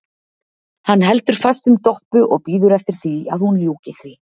Hann heldur fast um Doppu og bíður eftir að hún ljúki því.